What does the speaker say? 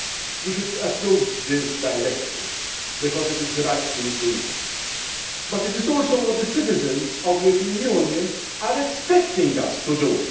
We should approve this Directive because it is the right thing to do, but it is also what the citizens of the European Union are expecting us to